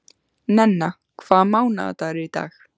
Nenna, hvaða mánaðardagur er í dag?